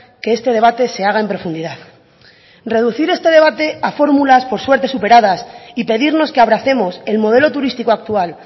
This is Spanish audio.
que este debate se haga en profundidad reducir este debate a fórmulas por suerte superadas y pedirnos que abracemos el modelo turístico actual